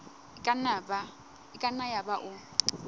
e ka nna yaba o